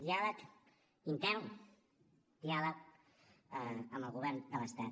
diàleg intern diàleg amb el govern de l’estat